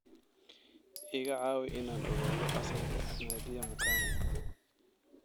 iga caawi inaan ogaado asalka nadia mukami